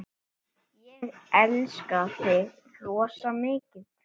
Ég elska þig rosa mikið.